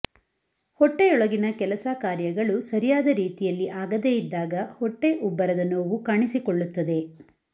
ಹೊಟ್ಟೆಯೊಳಗಿನ ಕೆಲಸ ಕಾರ್ಯಗಳು ಸರಿಯಾದ ರೀತಿಯಲ್ಲಿ ಆಗದೇ ಇದ್ದಾಗ ಹೊಟ್ಟೆ ಉಬ್ಬರದ ನೋವು ಕಾಣಿಸಿಕೊಳ್ಳುತ್ತದೆ